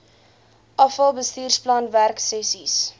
afal bestuursplan werksessies